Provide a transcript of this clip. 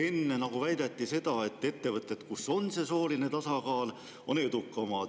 Enne siin väideti, et ettevõtted, kus on sooline tasakaal, on edukamad.